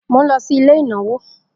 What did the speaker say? Mo nlo sí ilé ìnáwó